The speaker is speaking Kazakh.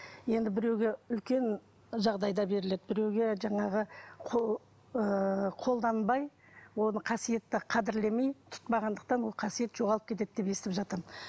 енді біреуге үлкен жағдайда беріледі біреуге жаңағы ыыы қолданбай оны қасиетті қадірлемей тұтпағандықтан ол қасиет жоғалып кетеді деп естіп жатырмын